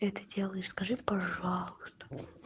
это делаешь скажи пожалуйста